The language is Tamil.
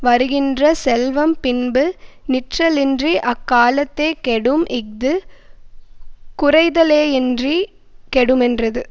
வருகின்ற செல்வம் பின்பு நிற்றலின்றி அக்காலத்தே கெடும் இஃது குறைதலேயின்றி கெடுமென்றது